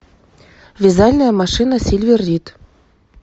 вязальная машина сильвер рид